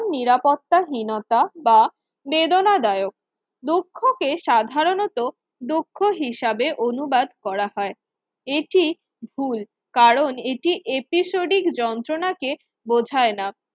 নিরাপত্তা হীনতা বা বেদনাদায়ক দুঃখকে সাধারণত দুঃখ হিসাবে অনুবাদ করা হয়। এটি ভুল কারণ এটি এপিসোডিক যন্ত্রণাকে বোঝায় না